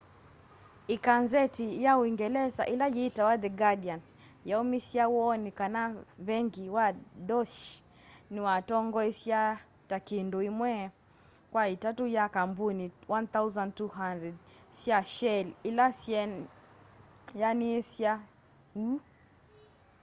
ikanzeti ya uungelesa ila yitawa the guardian yaumisye woni kana vengi wa deutsche niwatongoesya ta kindu imwe kwa itatu ya kambuni 1200 sya shell ila syeaniasya uu